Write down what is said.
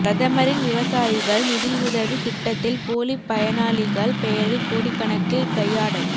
பிரதமரின் விவசாயிகள் நிதியுதவி திட்டத்தில் போலி பயனாளிகள் பெயரில் கோடிக்கணக்கில் கையாடல்